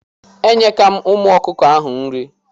Enyeka m ụmụ ọkụkọ ahụ nri.